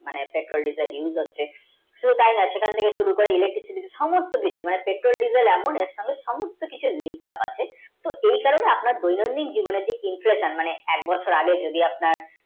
petrol, diesel use হচ্ছে শুধু সেখান থেকে শুরু করে electric এর সমস্তু কিছু মানে technological অনেক কিছু linkup আছে এই কারণ আপনার দৈনন্দিন জীবনে inclusion মানে এক বছর আগে যদি আপনার